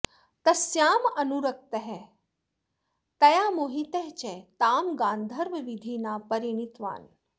तस्याम् अनुरक्तः तया मोहितः च तां गान्धर्वविधिना परिणीतवान्